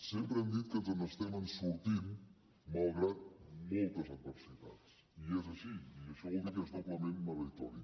sempre hem dit que ens n’estem sortint malgrat moltes adversitats i és així i això vol dir que és doblement meritori